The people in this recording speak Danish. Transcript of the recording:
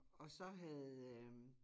Og så havde øh